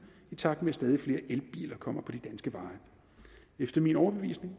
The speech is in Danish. i takt med at stadig flere elbiler kommer på de danske veje efter min overbevisning